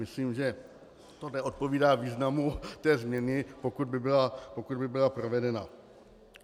Myslím, že to neodpovídá významu té změny, pokud by byla provedena.